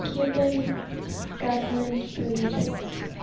cuban government prohibits